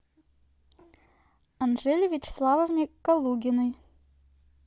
анжеле вячеславовне калугиной